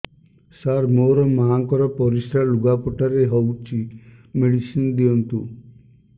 ସାର ମୋର ମାଆଙ୍କର ପରିସ୍ରା ଲୁଗାପଟା ରେ ହଉଚି ମେଡିସିନ ଦିଅନ୍ତୁ